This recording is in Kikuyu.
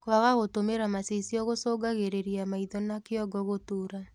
Kwaga gũtũmĩra macicio gũcũngagĩrĩrĩa maĩtho na kĩongo gũtuura